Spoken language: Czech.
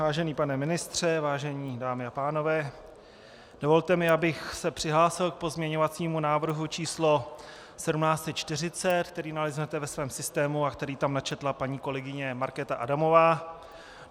Vážený pane ministře, vážené dámy a pánové, dovolte mi, abych se přihlásil k pozměňovacímu návrhu číslo 1740, který naleznete ve svém systému a který tam načetla paní kolegyně Markéta Adamová.